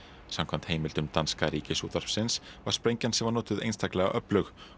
samkvæmt heimildum danska Ríkisútvarpsins var sprengjan sem var notuð einstaklega öflug